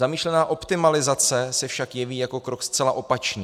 Zamýšlená optimalizace se však jeví jako krok zcela opačný.